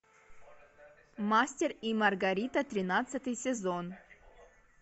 мастер и маргарита тринадцатый сезон